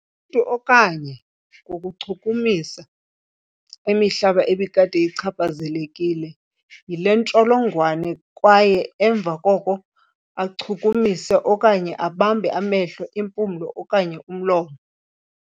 Umntu, okanye ngokuchukumisa imihlaba ebikade ichaphazelekile yile ntsholongwane kwaye emva koko achukumise okanye abambe amehlo, impumlo okanye umlomo.